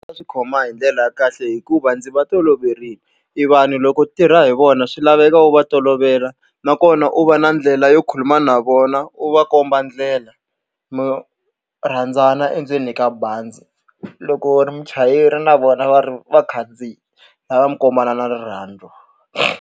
A swi khoma hi ndlela ya kahle hikuva ndzi va toloverile. E vanhu loko tirha hi vona swi laveka u va tolovela, nakona u va na ndlela yo khuluma na vona u va komba ndlela, mi rhandzana endzeni ka bazi. Loko u ri muchayeri na vona va ri vakhandziyi swi lava mi kombanana rirhandzu.